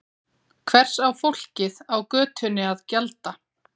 Hvers á fólkið á götunni að gjalda?